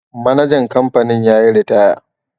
manajan kamfanin ya yi ritaya